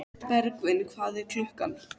Bergvin, hvað er klukkan?